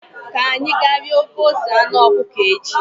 Ka anyị ga rie ofe ose anụ ọkụkọ echi